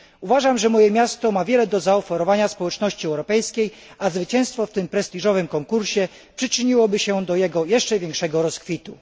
Uważam, że moje miasto ma wiele do zaoferowania społeczności europejskiej, a zwycięstwo w tym prestiżowym konkursie przyczyniłoby się do jego jeszcze większego rozkwitu.